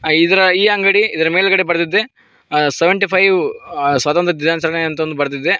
ಇದರ ಈ ಅಂಗಡಿ ಇದರ ಮೇಲ್ಗಡೆ ಬರ್ದಿದೆ ಆ ಸೆವೆಂಟಿ ಫೈವ್ ಆ ಸ್ವಾತಂತ್ರ್ಯ ದಿನಾಚರಣೆ ಅಂತ್ ಅಂದ್ ಬರ್ದಿದೆ.